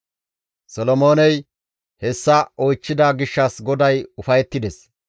Solomooney hessa oychchida gishshas GODAY ufayettides.